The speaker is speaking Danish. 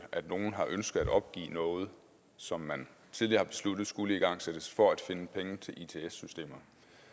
at nogen har ønsket at opgive noget som man tidligere har besluttet skulle igangsættes for at finde penge til its systemer